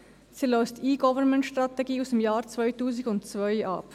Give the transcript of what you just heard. Sie löst die E-Government-Strategie aus dem Jahr 2002 ab.